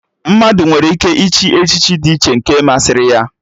Mmadụ nwere ike ịchị echichi dị iche nke masịrị ya